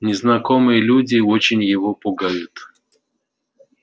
незнакомые люди очень его пугают